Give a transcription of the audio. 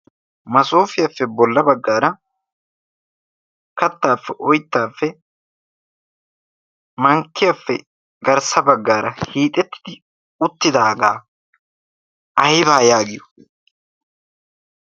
massofiyaafe bollaa baggara, kattafe, oytafe, mankkiyaafe garssa baggara hiixetid uttidaaga aybba giyo?